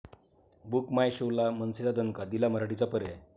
book My Show' ला मनसेचा दणका, दिला मराठीचा पर्याय